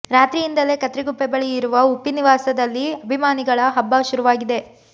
ರಾತ್ರಿಯಿಂದಲೇ ಕತ್ರಿಗುಪ್ಪೆ ಬಳಿ ಇರುವ ಉಪ್ಪಿ ನಿವಾಸದಲ್ಲಿ ಅಭಿಮಾನಿಗಳ ಹಬ್ಬ ಶುರುವಾಗಿದೆ